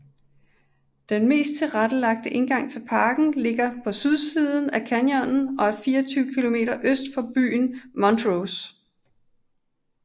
Den mest tilrettelagte indgang til parken ligger på sydsiden af canyonen og er 24 km øst for byen Montrose